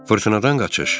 Fırtınadan qaçış.